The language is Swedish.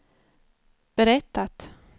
berättat